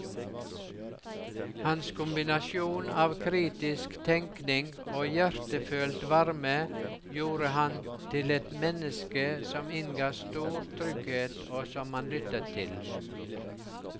Hans kombinasjon av kritisk tenkning og hjertefølt varme gjorde ham til et menneske som innga stor trygghet og som man lyttet til.